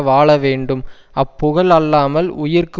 வாழ வேண்டும் அப் புகழ் அல்லாமல் உயிர்க்கு